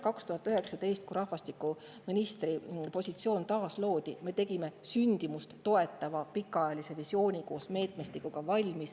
2019, kui rahvastikuministri positsioon taasloodi, me sündimust toetava pikaajalise visiooni koos meetmestikuga.